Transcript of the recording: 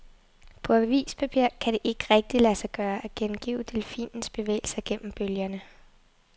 På avispapir kan det ikke rigtigt lade sig gøre, at gengive delfinens bevægelser gennem bølgerne.